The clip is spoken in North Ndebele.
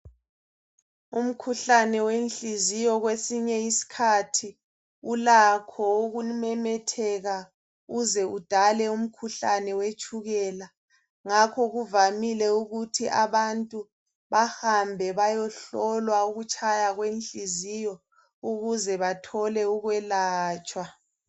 Umkhuhlane wenhliziyo kwesinye isikhathi ulakho ukumemetheka uze udale umkhuhlane wetshukela. Ngakho kuvamile ukuthi abantu ,bahambe bayehlolwa, ukutshaya kwenhliziyo, ukuze bathole ukwelatshwa.